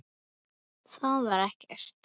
Það var ekkert.